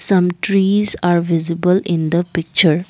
some trees are visible in the picture.